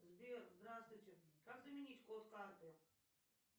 сбер здравствуйте как заменить код карты